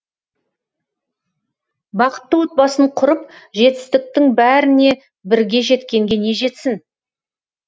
бақытты отбасын құрып жетістіктің бәріне бірге жеткенге не жетсін